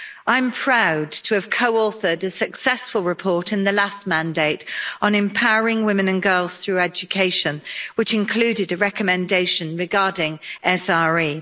I'm proud to have co authored a successful report in the last mandate on empowering women and girls through education, which included a recommendation regarding SRE.